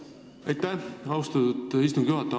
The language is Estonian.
Aitäh, austatud istungi juhataja!